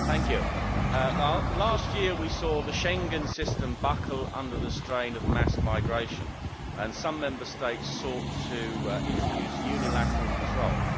Mr President, last year we saw the Schengen system buckle under the strain of mass migration, and some Member States sought to introduce unilateral controls.